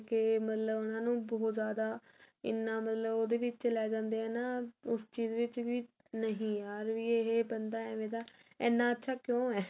ਮਤਲਬ ਉਹਨਾ ਨੂੰ ਬਹੁਤ ਜਿਆਦਾ ਇੰਨਾ ਮਤਲਬ ਉਹਦੇ ਵਿੱਚ ਲੈ ਜਾਂਦੇ ਆ ਨਾ ਉਸ ਚੀਜ਼ ਵਿੱਚ ਵੀ ਨਹੀ ਯਰ ਵੀ ਇਹ ਬੰਦਾ ਏਵੇਂ ਦਾ ਇੰਨਾ ਅੱਛਾ ਕਿਉਂ ਹੈ